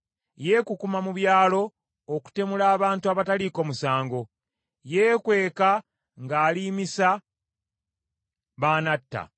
Yeekukuma mu byalo okutemula abantu abataliiko musango. Yeekweka ng’aliimisa b’anatta.